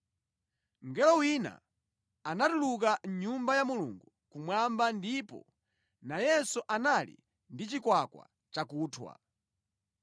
Mngelo wina anatuluka mʼNyumba ya Mulungu kumwamba ndipo nayenso anali ndi chikwakwa chakunthwa.